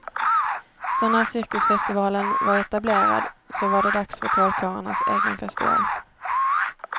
Så när cirkusfestivalen var etablerad, så var det dags för trollkarlarnas egen festival.